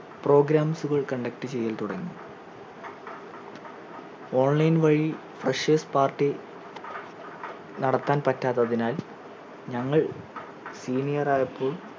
programs ഉകൾ conduct ചെയ്യൽ തുടങ്ങി online വഴി freshers party നടത്താൻ പറ്റാത്തതിനാൽ ഞങ്ങൾ senior ആയപ്പോൾ